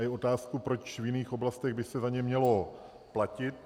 A je otázkou, proč v jiných oblastech by se za ně mělo platit.